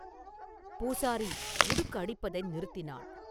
பூசாரி உடுக்கு அடிப்பதை நிறுத்தினான்.